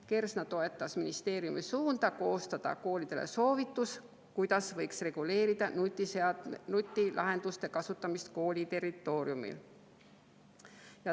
Kersna toetas ministeeriumi suunda koostada koolidele soovitus, kuidas võiks reguleerida nutilahenduste kasutamist kooli territooriumil.